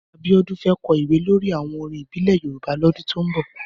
Abiodun fè kò ìwé lòrí áwòn órín ìbílè Yórùbá lòdún tó n bò